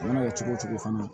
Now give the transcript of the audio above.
A mana kɛ cogo o cogo fana